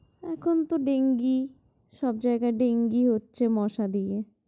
এখন তো ডেঙ্গি, সব জায়গা ডেঙ্গি হচ্ছে, মশা দিয়ে